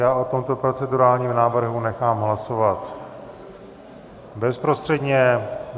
Já o tomto procedurálním návrhu nechám hlasovat bezprostředně.